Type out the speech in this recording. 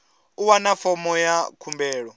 u wana fomo ya khumbelo